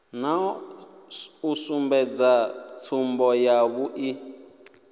na u sumbedza tsumbo yavhui